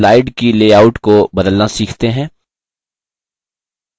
अब slide की layout को बदलना सीखते हैं